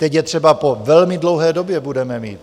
Teď je třeba po velmi dlouhé době budeme mít.